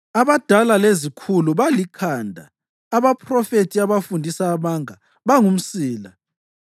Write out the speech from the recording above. abadala lezikhulu balikhanda, abaphrofethi abafundisa amanga bangumsila.